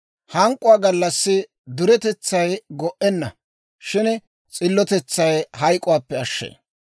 Hank'k'uwaa gallassi duretetsay go"enna; shin s'illotetsay hayk'k'uwaappe ashshee.